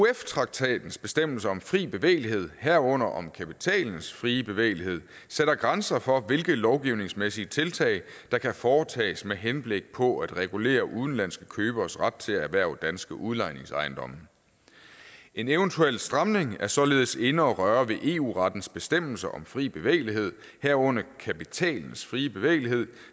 euf traktatens bestemmelser om fri bevægelighed herunder om kapitalens frie bevægelighed sætter grænser for hvilke lovgivningsmæssige tiltag der kan foretages med henblik på at regulere udenlandske køberes ret til at erhverve danske udlejningsejendomme en eventuel stramning er således inde at røre ved eu rettens bestemmelser om fri bevægelighed herunder kapitalens frie bevægelighed